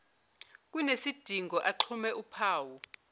kunesidingo axhume uphawu